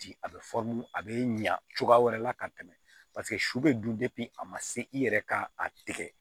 Di a bɛ a bɛ ɲa cogoya wɛrɛ la ka tɛmɛ paseke su bɛ dun a ma se i yɛrɛ ka a tigɛ